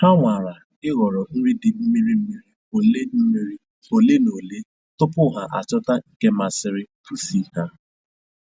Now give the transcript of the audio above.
Ha nwara ịhọrọ nri dị mmiri mmiri ole mmiri ole na ole tupu ha achọta nke masiri pusi ha